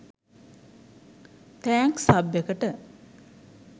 thanks සබ් එකට